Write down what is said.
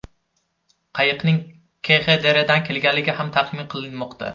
Qayiqning KXDRdan kelganligi ham taxmin qilinmoqda.